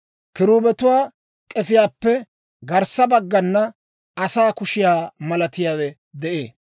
Kiruubetuwaa k'efiyaappe garssa baggana asaa kushiyaa malatiyaawe de'ee.